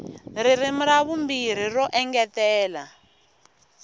ririmi ra vumbirhi ro engetela